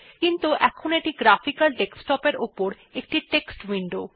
কিন্তু এখন এটি গ্রাফিকাল ডেস্কটপ এর উপর একটি টেক্সট উইন্ডো